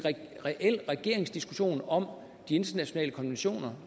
reel regeringsdiskussion om de internationale konventioner